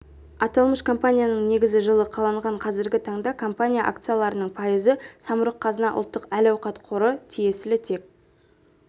аталмыш компанияның негізі жылы қаланған қазіргі таңда компания акцияларының пайызы самұрық-қазына ұлттық әл-ауқат қоры тиесілі тек